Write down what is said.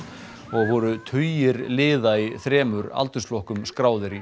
voru tugir liða í þremur aldursflokkum skráðir í